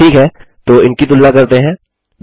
ठीक है तो इनकी तुलना करते हैं